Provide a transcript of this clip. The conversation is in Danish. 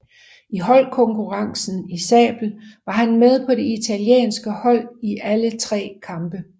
I holdkonkurrencen i sabel var han med på det italienske hold i alle tre kampe